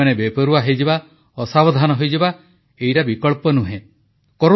ଆମେମାନେ ବେପରୁୱା ହୋଇଯିବା ଅସାବଧାନ ହୋଇଯିବା ଏଇଟା ବିକଳ୍ପ ନୁହେଁ